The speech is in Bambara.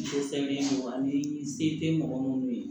se tɛ mɔgɔ munnu ye